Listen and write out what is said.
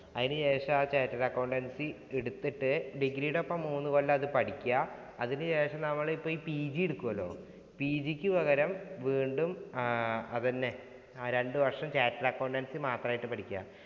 അതിനു ശേഷം ആ chattered accountancy എടുത്തിട്ടു degree ഈടൊപ്പം മൂന്നുകൊല്ലം അത് പഠിക്കുക. അതിനുശേഷം നമ്മള് ഈ PG എടുക്കൂലോ. PG ഇക്ക് പകരം വീണ്ടും അതന്നെ രണ്ടു വര്‍ഷം chattered accountancy മാത്രായിട്ടു പഠിക്കുക.